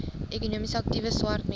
ekonomies aktiewe swartmense